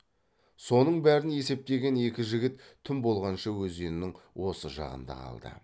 соның бәрін есептеген екі жігіт түн болғанша өзеннің осы жағында қалды